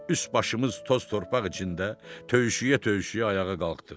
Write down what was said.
Üst-başımız toz-torpaq içində, töyüşə-töyüşə ayağa qalxdıq.